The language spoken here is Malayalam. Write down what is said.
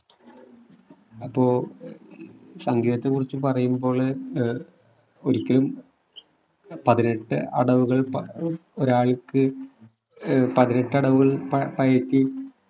അപ്പൊ സംഗീതത്തെ കുറിച്ച് പറയുമ്പോൾ ഏർ ഒരിക്കലും പതിനെട്ട് അടവുകൾ പ ഒരാൾക്ക് ഏർ പതിനെട്ട് അടവുകൾ പയറ്റി